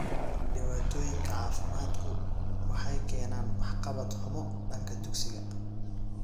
Dhibaatooyinka caafimaadku waxay keenaan waxqabad xumo danka dugsiga.